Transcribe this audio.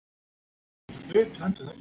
Hvernig er staðfest byrjunarlið gegn Tyrkjum?